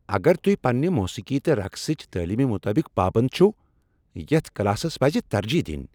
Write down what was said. اگر تُہۍ پننِہ موسیقی تہٕ رقصٕچ تٲلیمِہ مطلق پابند چِھو، یتھ کلاسس پَزِ ترجیح دِنۍ ۔